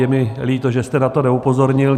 Je mi líto, že jste na to neupozornil.